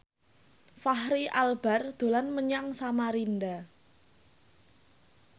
Fachri Albar dolan menyang Samarinda